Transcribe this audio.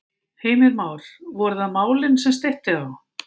Heimir Már: Voru það málin sem steytti á?